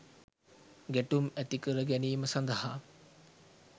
ගැටුම් ඇතිකර ගැනීම සඳහා